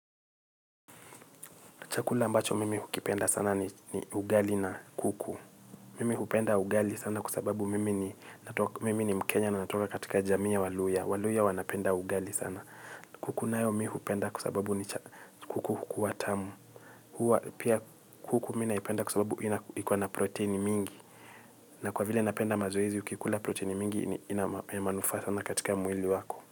Chakula ambacho mimi hukipenda sana ni ugali na kuku. Mimi hukipenda ugali sana kwa sababu mimi ni mkenya na natoka katika jamii ya waluhya. Waluhya wanapenda ugali sana. Kuku nayo mimi hukipenda kwa sababu ni kuku hukua tamu. Pia kuku mimi naipenda kwa sababu iko na proteini mingi. Na kwa vile napenda mazoezi ukikula proteini mingi ina manufaa sana katika mwili wako.